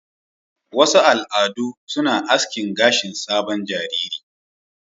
Wasu al'adu suna asking gashin sabon jariri.